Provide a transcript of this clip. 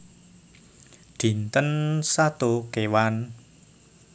Dinten Sato Kéwan